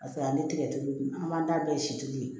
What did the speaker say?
Paseke ani tigɛtulu an b'an ta bɛɛ si tulu ye